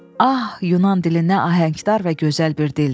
Ah, Yunan dili nə ahəngdar və gözəl bir dildir!